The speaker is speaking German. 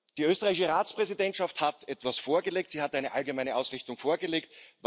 Die österreichische Ratspräsidentschaft hat etwas vorgelegt, sie hat eine allgemeine Ausrichtung vorgelegt.